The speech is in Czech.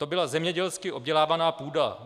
To byla zemědělsky obdělávaná půda.